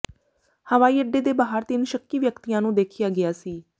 ਹਵਾਈ ਅੱਡੇ ਦੇ ਬਾਹਰ ਤਿੰਨ ਸ਼ੱਕੀ ਵਿਅਕਤੀਆਂ ਨੂੰ ਦੇਖਿਆ ਗਿਆ ਸੀ